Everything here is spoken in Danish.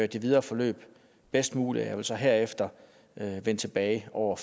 det videre forløb bedst muligt og jeg vil så herefter vende tilbage over